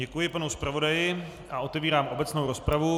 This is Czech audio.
Děkuji panu zpravodaji a otevírám obecnou rozpravu.